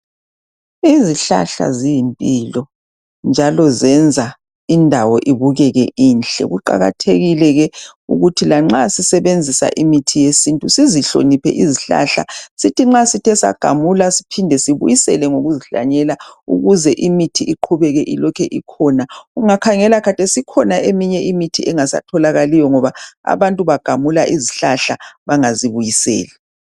Izihlahla ziyimpilo, njalo zenza indawo ibukeke inhle. Kuqakathekile ke ukuthi lanxa sisebenzisa imithi yesintu, sizihloniphe izihlahla. Sithi nxa sithe sagamula, siphinde sizibuyisele ngokuzihlanyela. Ukuze imithi iqhubeke ilokhe ikhona. Ungakhangela khathesi, ikhona imithi engasatholakaliyo, ngoba abantu bagamula izihlahla, bengazibuyiseli.